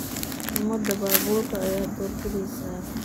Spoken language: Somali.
Summada baabuurkee ayaad doorbidaysaa?